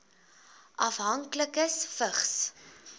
afhanklikes vigs